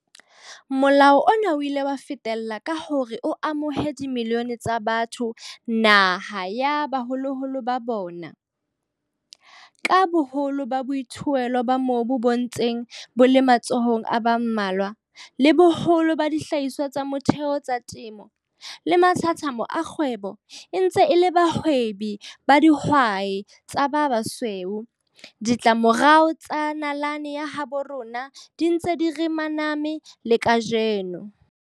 Molao ona o ile wa fetella ka hore o amohe dimilione tsa batho naha ya baholoholo ba bona. Ka boholo ba boithuelo ba mobu bo ntseng bo le matsohong a ba mmalwa, le boholo ba dihlahiswa tsa motheo tsa temo le mathathamo a kgwebo e ntse e le tsa bahwebi ba dihwai tsa ba basweu, ditlamorao tsa nalane ya habo rona di ntse di re maname le kajeno.